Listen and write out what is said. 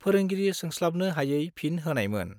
फोरोंगिरि सोंस्लाबनो हायै फिन होनायमोन।